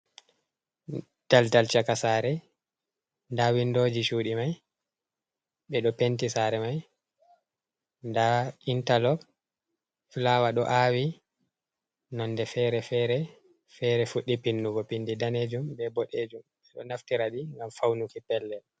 Daldal caka saare, ndaa winndooji cuuɗi may, ɓe ɗo penti saare may, ndaa intaloos, fulawa ɗo aawi nonde fere-fere, fere fuɗɗi pinnugo pinndi daneejum, be boɗeejum, ɓe ɗo naftira ɗi, ngam fawnuki pellel.